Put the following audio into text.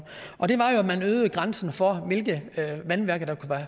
og det var jo at man øgede grænsen for hvilke vandværker der kunne